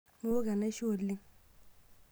Miwok enaisho oleng.